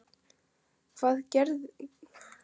Hvað gerirðu til að reyna að halda þeim í skefjum?